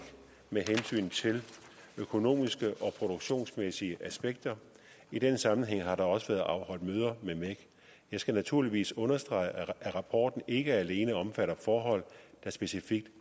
med hensyn til økonomiske og produktionsmæssige aspekter i den sammenhæng har der også været afholdt møder med mec jeg skal naturligvis understrege at rapporten ikke alene omfatter forhold der specifikt